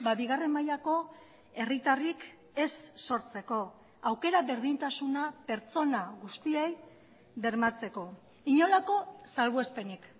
bigarren mailako herritarrik ez sortzeko aukera berdintasuna pertsona guztiei bermatzeko inolako salbuespenik